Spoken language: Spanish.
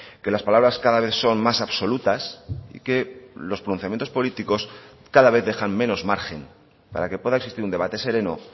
que las palabras cada vez son más absolutas que los pronunciamientos políticos cada vez dejan menos margen para que pueda existir un debate sereno